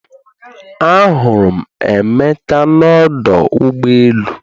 Ahụrụ m Emeka n’ọdụ ụgbọ elu